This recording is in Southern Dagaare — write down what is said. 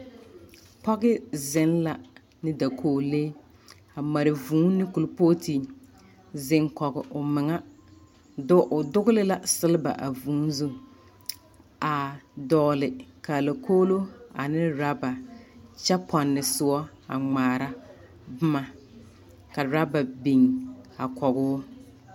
Pɔge zeŋ la ne dakoglee. A mare vũũ kulpooti zeŋ kɔge omeŋa do o dogele la seleba a vũũ do a dɔɔle kaalakoglo ne raba kyɛ pɔnne soɔ a ŋmaara boma ka raba biŋ a kɔgoo.